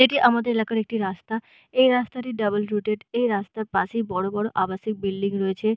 এটি আমাদের এলাকার একটি রাস্তা এই রাস্তা টি ডবল রুট্টেড এই রাস্তার পাশেই বড়ো বড়ো আবাসিক বিল্ডিং রয়েছে।